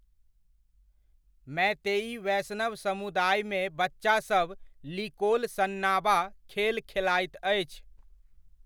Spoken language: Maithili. मीतेइ वैष्णव समुदायमे बच्चासभ 'लिकोल सन्नाबा' खेल खेलाइत अछि।